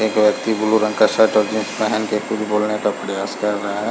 एक व्यक्ति ब्लू रंग का शर्ट और जीन्स पहन के कुछ बोलने का प्रयास कर रहा है।